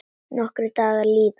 Nokkrir dagar líða.